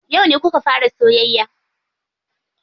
Yauce kuka fara soyayya?